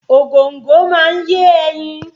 Ògòńgò máa ń yé ẹyin